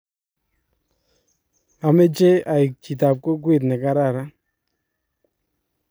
ameche aleku chitab kokwet ne kararan